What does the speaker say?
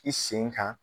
I sen kan